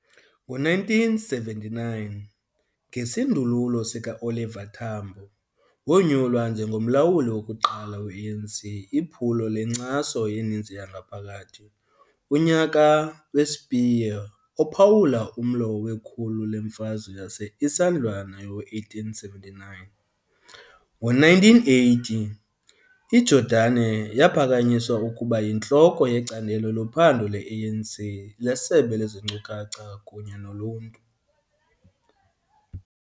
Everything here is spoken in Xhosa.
Ngo-1979, ngesindululo sikaOliver Tambo, wonyulwa njengomlawuli wokuqala we-ANC Iphulo lenkcaso yeninzi yangaphakathi, unyaka we-Spear, ophawula umlo wekhulu leMfazwe yase-Isandhlwana yowe-1879. Ngo-1980, iJordani yaphakanyiswa ukuba yintloko yeCandelo loPhando le-ANC leSebe lezeNkcukacha kunye noluntu.